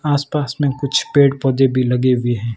आस पास में कुछ पेड़ पौधे भी लगे हुए है।